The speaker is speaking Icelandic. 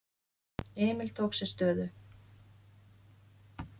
Emil tók sér stöðu.